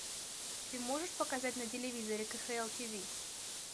ты можешь показать на телевизоре кхл тв